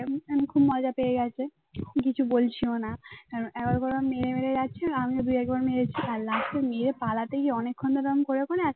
আরেকবার মেরে মেরে যাচ্ছিল আমিও দু-একবার মেরেছি আর last এ মেরে পালাতে গিয়ে অনেকক্ষণ ওরকম করে করে